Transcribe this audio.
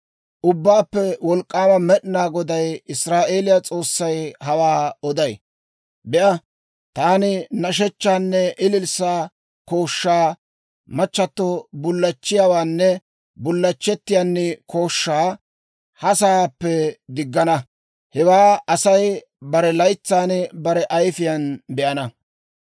Ubbaappe Wolk'k'aama Med'inaa Goday, Israa'eeliyaa S'oossay hawaa oday. Be'a, taani nashshechchaanne ililssaa kooshshaa, machchato bullachchiyaawaanne bullachchettiyaan kooshshaa ha sa'aappe diggana. Hewaa Asay bare laytsan bare ayifiyaan be'ana.